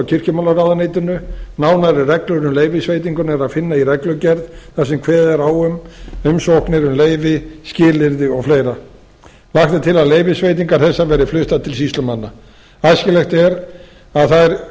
kirkjumálaráðuneytinu nánari reglur um leyfisveitinguna er að finna í reglugerð þar sem kveðið er á um umsóknir um leyfi skilyrði og fleira lagt er til að leyfisveitingar þessar verði fluttar til sýslumanna æskilegt er að þær verði